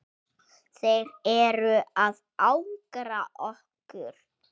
Þeir eru að angra okkur.